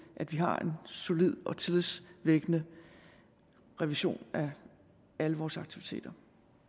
at vi har en solid og tillidsvækkende revision af alle vores aktiviteter